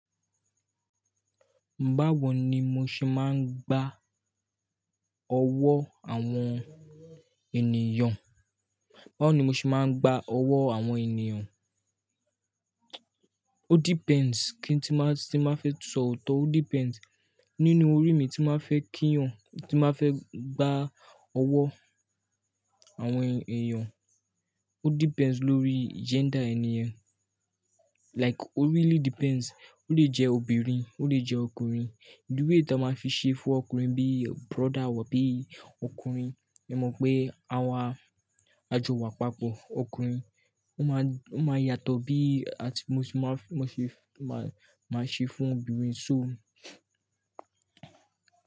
Báwo ni mo ṣe máa ń gbà owó àwọn ènìyàn? Báwo ni mo ṣe máa ń gbà owó àwọn ènìyàn? O depends kíni tí máa, tí máa fẹ́ sọ òótọ́, o depends nínú orí mi tí máa fẹ́ kíyàn, tí máa fẹ́ gbà owó àwọn ènìyàn, o depends lórí gender ènì yen. Like o really depends, o lè jẹ́ obìnrin, o lè jẹ́ ọkùnrin. The way tí a máa fi ṣe fún ọkùnrin bí brother wà bí ọkùnrin, ẹ mọ̀ pé àwa ajowa àpapọ̀ ọkùnrin, ó máa, ó máa yàtọ̀ bí at, mo ṣe máa fẹ́, mo ṣe máa, máa ṣe fún obìnrin. So.